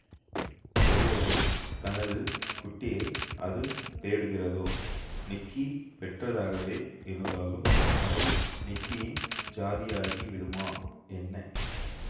ஒருவேளை தனது குட்டியை அது தேடுகிறதோ நிக்கி பெற்றதாகவே இருந்தாலும் அவை நிக்கியின் ஜாதியாகிவிடுமா என்ன